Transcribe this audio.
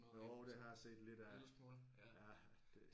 Jo det har jeg set lidt af ja det